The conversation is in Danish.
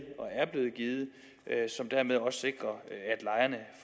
som dermed også sikrer